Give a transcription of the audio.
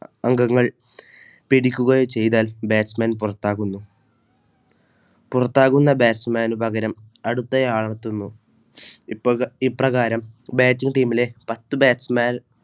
അംഗങ്ങൾ പിടിക്കുകയും ചെയ്താൽ Batchman പുറത്താകുന്നു. പുറത്താകുന്ന Batchman പകരം അടുത്തയാൾ എത്തുന്നു ഇപ്രകാരം Batching team ലെ പത്തു Batchman